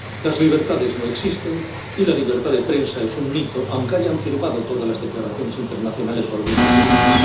Las libertades no existen y la libertad de prensa es un mito, aunque hayan firmado todas las declaraciones internacionales o algunas de ellas.